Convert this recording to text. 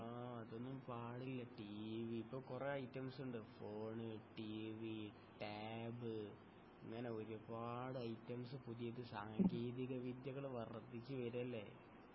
ആ അതൊന്നും പാടില്ല ടീവീ ഇപ്പൊ കൊറേ ഐറ്റംസുണ്ട് ഫോൺ ടീവീ ടാബ് ഇങ്ങനെ ഒരുപാട് ഐറ്റംസ് പുതിയത് സാങ്കേതിക വിദ്യകൾ വർധിച്ചു വരല്ലെ